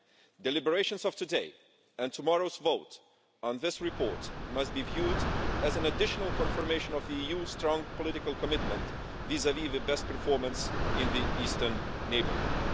The deliberations and today's and tomorrow's vote on this report must be viewed as additional confirmation of the EU's strong political commitment vis-à-vis best performance in the Eastern neighbourhood.